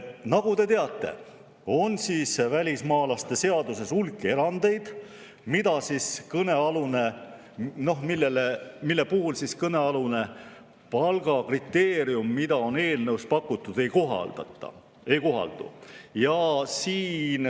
Nagu te teate, on välismaalaste seaduses hulk erandeid, mille suhtes kõnealune palgakriteerium, mida on eelnõus pakutud, ei kohaldu.